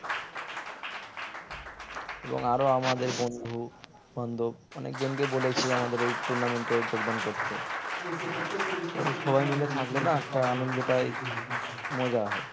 এবং আরো আমাদের বন্ধু-বান্ধব অনেক জনকে বলেছি আমাদের এই tournament এ যোগদান করতে কারণ সবাই মিলে থাকলে না একটা আনন্দটাই মজা হয়